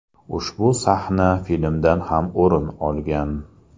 Ushbu sahna filmdan ham o‘rin olgan.